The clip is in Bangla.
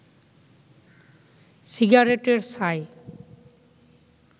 সিগারেটের ছাই